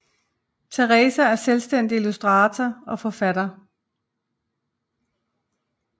Theresa er selvstændig illustrator og forfatter